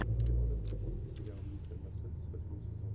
ты можешь включить сериал мистер мерседес восьмой сезон